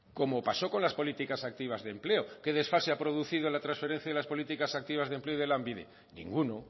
como pasó con las políticas activas de empleo qué desfase ha producido la transferencia de las políticas activas de empleo y de lanbide ninguno